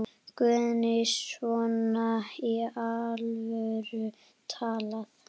Guðný: Svona í alvöru talað?